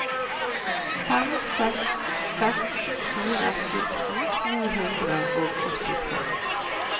fem seks seks fire fjorten ni hundre og åttitre